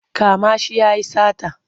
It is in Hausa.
Kama shi ya yi sata!